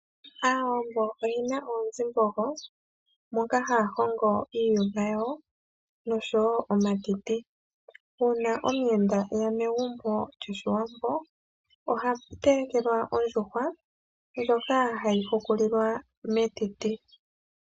Aawambo oye na oonzimbogo moka haya hongo iiyuma yawo noshowo omatiti uuna omuyenda eya megumbo lyoshiwambo oha telekelwa ondjuhwa ndjoka hayi hukulilwa metiti.